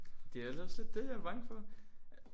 Det er da også lidt det jeg er bange for